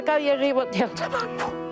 Qaqamı yeyib yandırırlar.